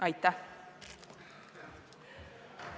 Aitäh!